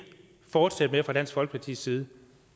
fortsætte med fra dansk folkepartis side